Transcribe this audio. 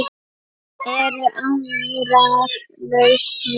Eru aðrar lausnir?